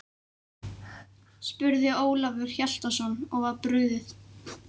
spurði Ólafur Hjaltason og var brugðið.